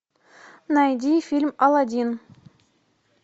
найди фильм алладин